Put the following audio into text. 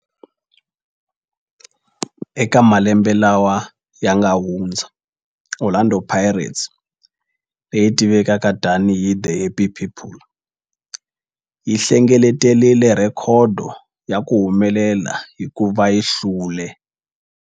Eka malembe lawa yanga hundza, Orlando Pirates, leyi tivekaka tani hi 'The Happy People', yi hlengeletile rhekhodo ya ku humelela hikuva yi hlule.